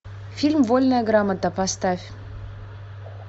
фильм вольная грамота поставь